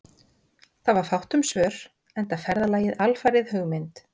Það var fátt um svör, enda ferðalagið alfarið hugmynd